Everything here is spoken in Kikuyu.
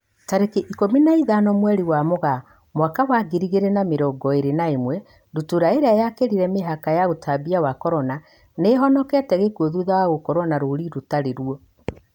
Tarĩki ikũmi na ithano mweri wa Mũgaa mwaka wa ngiri igĩrĩ na mĩrongo ĩrĩ na ĩmwe, ndutura ĩrĩa yakĩrire mĩhaka ya ũtambia wa Corona, nĩihonokete gĩkuo thutha wa gũkorwo na rũri rũtari ruo